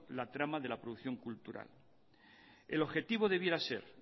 la trama de la producción cultural el objetivo debiera ser